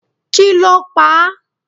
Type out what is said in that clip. kí ló pa á?